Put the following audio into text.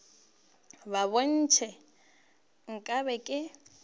bo ntšha nka be ke